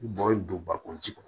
Bɔn donbakun kɔnɔ